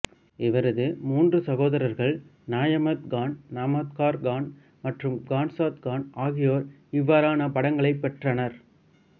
இவரது மூன்று சகோதரர்கள் நியாமத் கான் நம்தார் கான் மற்றும் கான்சாத் கான் ஆகியோர் இவ்வாறானப் பட்டங்களை பெற்றனர்